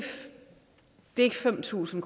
fem tusind